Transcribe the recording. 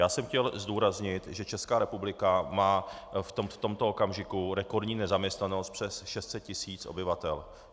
Já jsem chtěl zdůraznit, že Česká republika má v tomto okamžiku rekordní nezaměstnanost přes 600 tisíc obyvatel.